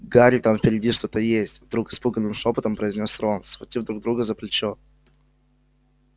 гарри там впереди что-то есть вдруг испуганным шёпотом произнёс рон схватив друга за плечо